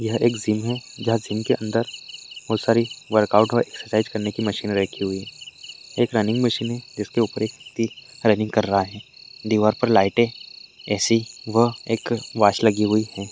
एक जिम है जहां जिम के अंदर बहुत सारी वर्कआउट और एक्सरसाइज करने की मशीन रखी हुई है एक रनिंग मशीन है जिसके ऊपर एक व्यक्ती रनिंग कर रहा है दीवार पर लाइटे ऐ_सी व एक वॉच लगी हुई है।